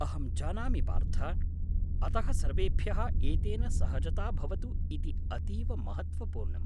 अहं जानामि पार्थ! अतः सर्वेभ्यः एतेन सहजता भवतु इति अतीव महत्त्वपूर्णम्।